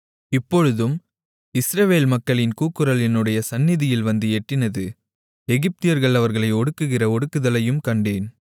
இப்பொழுதும் இஸ்ரவேல் மக்களின் கூக்குரல் என்னுடைய சந்நிதியில் வந்து எட்டினது எகிப்தியர்கள் அவர்களை ஒடுக்குகிற ஒடுக்குதலையும் கண்டேன்